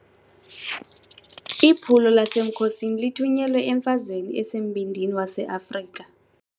Iphulo lasemkhosini lithunyelwe emfazweni esembindini waseAfrika.